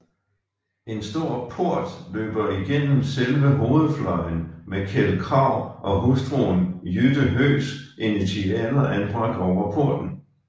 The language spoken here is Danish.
En stor port løber igennem selve hovedfløjen med Kjeld Krag og hustruen Jytte Høgs initialer anbragt over porten